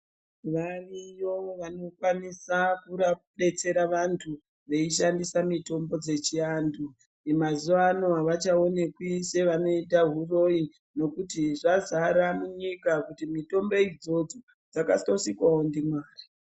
Variyo vanokwanisa kubetsera vantu veishanndisa mitombo dzechiantu mazuvano havachaonekwi sevanoita huroyi nokuti zvazara munyika kuti mitombo idzodzo dzakatosikwawo ndiMwari..